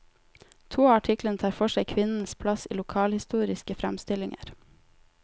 To av artiklene tar for seg kvinnenes plass i lokalhistoriske framstillinger.